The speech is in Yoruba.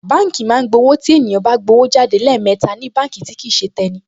Báǹkì máa ń gba owó tí ènìyàn bá gbówó jáde lẹ́ẹ̀mẹta ní báǹkì tí kìí ṣe tẹni